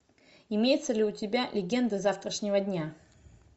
имеется ли у тебя легенды завтрашнего дня